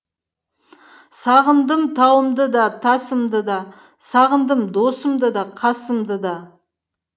сағындым тауымды да тасымды да сағындым досымды да қасымды да